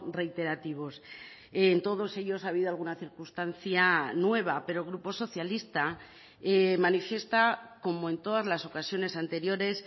reiterativos en todos ellos ha habido alguna circunstancia nueva pero el grupo socialista manifiesta como en todas las ocasiones anteriores